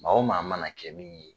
Maa o maa mana kɛ min ye